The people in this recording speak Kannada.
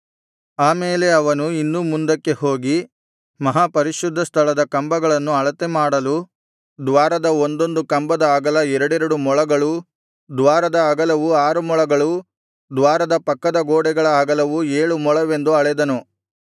ಆಮೇಲೆ ಅವನು ಇನ್ನೂ ಮುಂದಕ್ಕೆ ಹೋಗಿ ಮಹಾಪರಿಶುದ್ಧ ಸ್ಥಳದ ಕಂಬಗಳನ್ನು ಅಳತೆ ಮಾಡಲು ದ್ವಾರದ ಒಂದೊಂದು ಕಂಬದ ಅಗಲ ಎರಡೆರಡು ಮೊಳಗಳೂ ದ್ವಾರದ ಅಗಲವು ಆರು ಮೊಳಗಳೂ ದ್ವಾರದ ಪಕ್ಕದ ಗೋಡೆಗಳ ಅಗಲವು ಏಳು ಮೊಳವೆಂದು ಅಳೆದನು